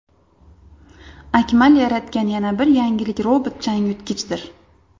Akmal yaratgan yana bir yangilik robot-changyutgichdir.